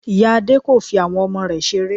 Ìya Adé kò fi àwọn ọmọ rẹ̀ seré